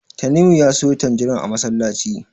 Tanimu ya siyo tanjirin a masallaci.